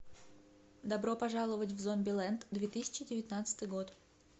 добро пожаловать в зомбилэнд две тысячи девятнадцатый год